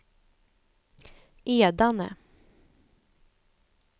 Edane